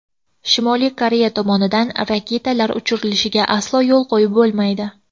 Shimoliy Koreya tomonidan raketalar uchirilishiga aslo yo‘l qo‘yib bo‘lmaydi.